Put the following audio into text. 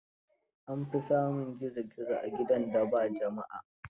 An fi samun gizo gizzo a gidan da ba jama'a.